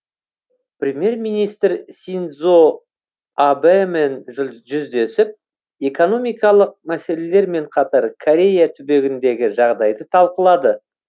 премьер министр синдзо абэмен жүздесіп экономикалық мәселелермен қатар корея түбегіндегі жағдайды талқылады